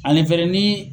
Ani fɛnɛ ni